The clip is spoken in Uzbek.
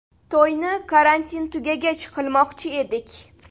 To‘yni karantin tugagach qilmoqchi edik”.